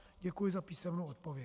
Děkuji za písemnou odpověď.